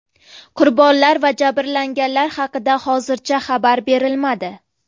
Qurbonlar va jabrlanganlar haqida hozircha xabar berilmadi.